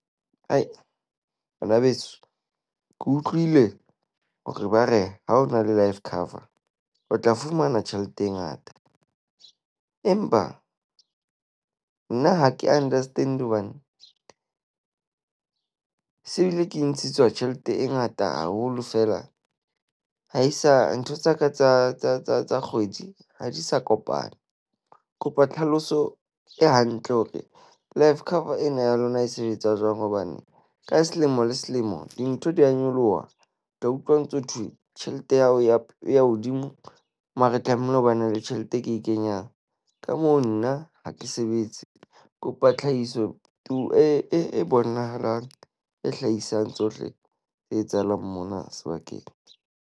Banabeso ke utlwile hore ba re ha o na le life cover o tla fumana tjhelete e ngata. Empa nna ha ke understand-e hobane se ebile ke ntshetswa tjhelete e ngata haholo fela ha e sa ntho tsa ka tsa tsa tsa tsa kgwedi ha di sa kopana. Kopa tlhaloso e hantle hore life cover ena ya lona e sebetsa jwang, hobane ka selemo le selemo dintho di a nyoloha, ke utlwa ntso thwe tjhelete ya hao ya, ya hodimo mare tlamehile ho ba ne le tjhelete e ke e kenyang. Ka moo nna ha ke sebetse kopa tlhahiso e e bonahalang e hlahisang tsohle tse etsahalang mona sebakeng.